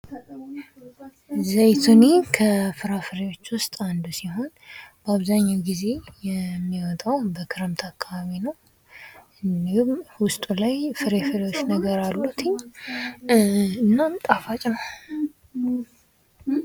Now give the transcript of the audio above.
ዘይቱን ከፍራፍሬዎች ዉስጥ አንዱ ሲሆን አብዛኛውን ጊዜ የሚወጣው በክረምት አካባቢ ነው:: ይህም ውስጡ ላይ ፍሬ ፍሬዎች ነገር አሉት:: እናም ጣፋጭ ነው::